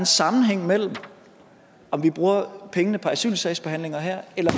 sammenhæng mellem om vi bruger pengene på asylsagsbehandlinger her eller